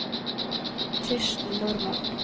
Kirsten Normann